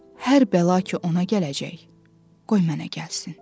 Hər bəla ki, ona gələcək, qoy mənə gəlsin.